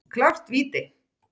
Klárt víti!